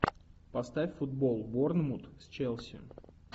поставь футбол борнмут с челси